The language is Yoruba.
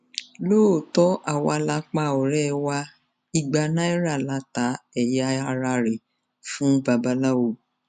lóòótọ ni àwa la pa ọrẹ wa ìgbà náírà la ta ẹyà ara rẹ fún babaláwo